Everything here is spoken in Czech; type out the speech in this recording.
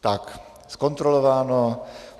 Tak, zkontrolováno.